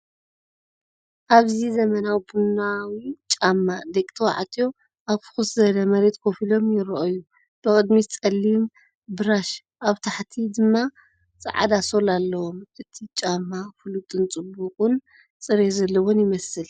ኣብዚ ዘመናዊ ቡናዊ ጫማ ደቂ ተባዕትዮ ኣብ ፍኹስ ዝበለ መሬት ኮፍ ኢሎም ይረኣዩ። ብቕድሚት ጸሊም ብራሽ፡ ኣብ ታሕቲ ድማ ጻዕዳ ሶል ኣለዎም። እቲ ጫማ ፍሉጥን ጽቡቕ ጽሬት ዘለዎን ይመስል።